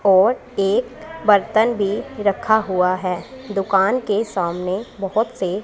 और एक बर्तन भी रखा हुआ है दुकान के सामने बहुत से--